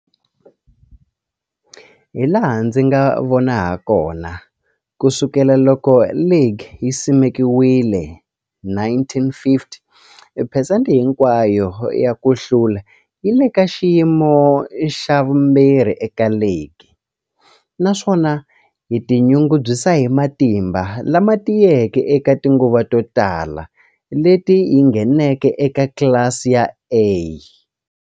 Hilaha ndzi nga vona hakona, ku sukela loko ligi yi simekiwile, 1950, phesente hinkwayo ya ku hlula yi le ka xiyimo xa vumbirhi eka ligi, naswona yi tinyungubyisa hi matimba lama tiyeke eka tinguva to tala leti yi ngheneke eka tlilasi ya A.